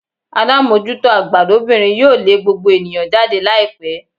Alamojuto agba lobinrin yoo le gbogbo eniyan jade laipe